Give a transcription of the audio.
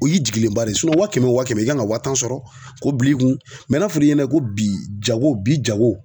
O y'i jigilenba de ye wa kɛmɛ o wa kɛmɛ i kan ŋa wa tan sɔrɔ k'o bil'i kun na fɔ'i ɲɛnɛ ko bi jago bi jago